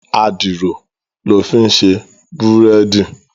Àdìrò lò fin sé búrèdí